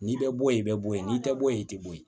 N'i bɛ bɔ yen i bɛ bɔ ye n'i tɛ bɔ yen i tɛ bɔ yen